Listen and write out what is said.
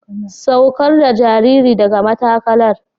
Saukar da jaririn daga matakalar.